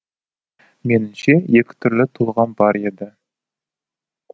меніңше екі түрлі толғам бар еді